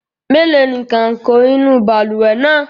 Mélòó ni kàǹkọ̀ inú balùwẹ̀ náà?